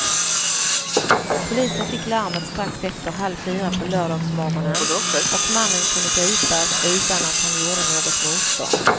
Polisen fick larmet strax efter halv fyra på lördagsmorgonen och mannen kunde gripas utan att han gjorde något motstånd.